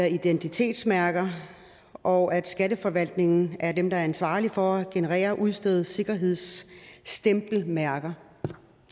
identitetsmærker og at skatteforvaltningen er dem der er ansvarlig for at generere og udstede sikkerhedsstempelmærker